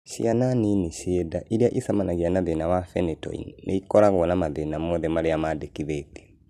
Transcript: Ciana nini ciĩ nda irĩa icemanagia na thina wa phenytoin nĩikoragwo na mathĩna mothe marĩa mandĩkithĩtio